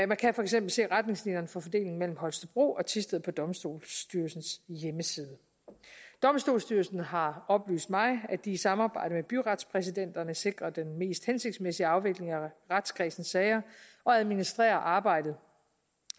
man kan for eksempel se retningslinjerne for fordelingen mellem holstebro og thisted på domstolsstyrelsens hjemmeside domstolsstyrelsen har oplyst mig at de i samarbejde med byretspræsidenterne sikrer den mest hensigtsmæssige afvikling af retskredsenes sager og administrerer arbejdet